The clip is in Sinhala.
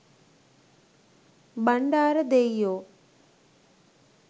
bandara deiyo